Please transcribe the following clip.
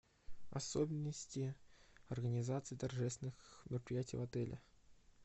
особенности организации торжественных мероприятий в отеле